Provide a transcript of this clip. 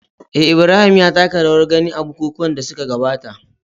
eh, Ibrahim ya taka rawar gani a bukukuwan da suka gabata